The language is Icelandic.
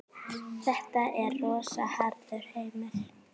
Þetta er rosa harður heimur.